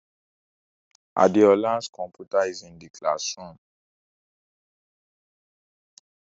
Adeola's computer is in the classroom.